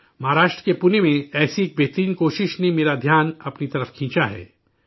مہاراشٹر کے پونے میں، ایسی ہی ایک بہترین کوشش نے میری توجہ اپنی جانب کھینچی ہے